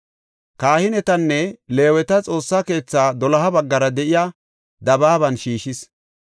Kahinetanne Leeweta Xoossa keethaa doloha baggara de7iya dabaaban shiishis.